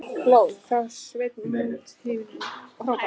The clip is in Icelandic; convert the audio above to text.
Hló þá Sveinn mót himninum og hrópaði: